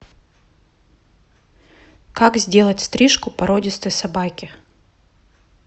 как сделать стрижку породистой собаке